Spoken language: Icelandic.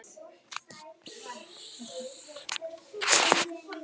vakni grunur um fyrirferð í eista er næsta skref yfirleitt ómskoðun